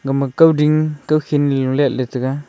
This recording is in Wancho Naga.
ama kawding kawkhin lo letley taiga.